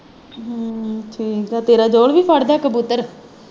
ਹਮ ਤੇਰਾ ਦਿਉਰ ਵੀ ਫੜਦਾ ਕਬੂਤਰ?